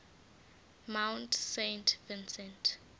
mount saint vincent